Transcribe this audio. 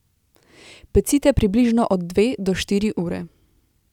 Pecite približno od dve do štiri ure.